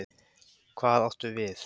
Hvað áttu við?